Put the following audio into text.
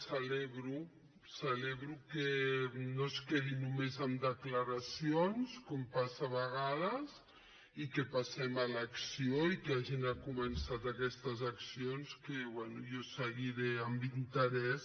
celebro celebro que no es quedi només en declaracions com passa a vegades i que passem a l’acció i que hagin començat aquestes accions que bé jo seguiré amb interès